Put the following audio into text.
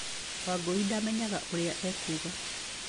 Wangũi ndamenyire ũrĩa ekuuga.